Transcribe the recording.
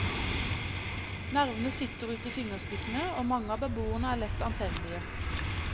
Nervene sitter ute i fingerspissene, og mange av beboerne er lett antennelige.